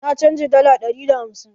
Na canja dala dari da hamsin.